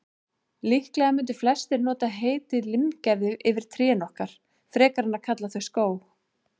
Líklega mundu flestir nota heitið limgerði yfir trén okkar, frekar en að kalla þau skóg.